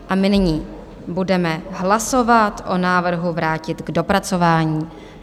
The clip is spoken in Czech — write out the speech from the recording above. A my nyní budeme hlasovat o návrhu vrátit k dopracování.